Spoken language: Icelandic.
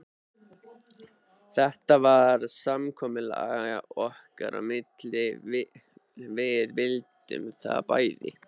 Þetta var samkomulag okkar á milli, við vildum það bæði.